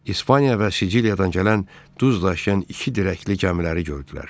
İspaniya və Siciliyadan gələn duz daşıyan iki dirəkli gəmiləri gördülər.